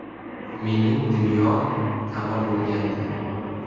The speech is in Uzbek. Mening dunyom tamom bo‘lgandi.